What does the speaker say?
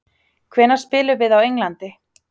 Hvenær spilum við á Englandi?